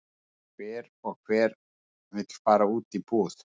Hver og hver og vill fara út í búð?